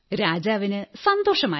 രാജാവിന് സന്തോഷമായി